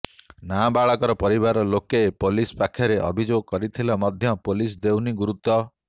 ନାବାଳକର ପରିବାର ଲୋକେ ପୋଲିସ ପାଖରେ ଅଭିଯୋଗ କରିଥିଲେ ମଧ୍ୟ ପୋଲିସ ଦେଉନି ଗୁରୁତ୍ବ